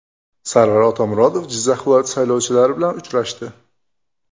Sarvar Otamuratov Jizzax viloyati saylovchilari bilan uchrashdi.